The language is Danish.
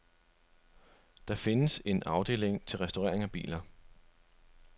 Der findes en afdeling til restaurering af biler.